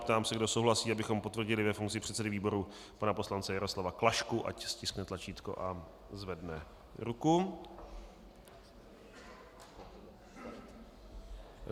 Ptám se, kdo souhlasí, abychom potvrdili ve funkci předsedy výboru pana poslance Jaroslava Klašku, ať stiskne tlačítko a zvedne ruku.